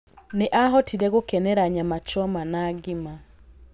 Nĩ ahotire gũkenera nyama choma na ngima.